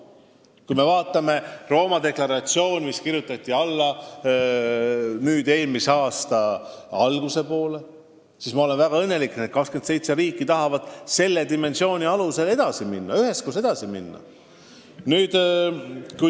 Kui me vaatame Rooma deklaratsiooni, mis kirjutati alla eelmise aasta alguses, siis peame olema õnnelikud, et need 27 riiki tahavad samal moel üheskoos edasi minna.